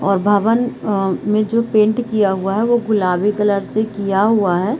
और भवन में अ जो पेंट किया हुआ है वो गुलाबी कलर से किया हुआ है।